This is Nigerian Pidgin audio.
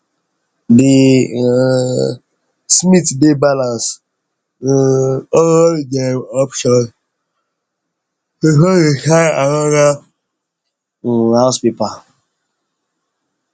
the um smith dey balance um all dem options before dem sign another um house paper